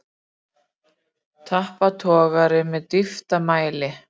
Tappatogari með dýptarmæli.